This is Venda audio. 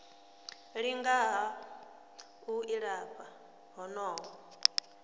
linga ha u ilafha honoho